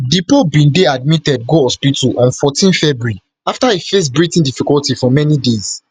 di pope bin dey admitted go hospital on fourteen february afta e face breathing difficulty for many days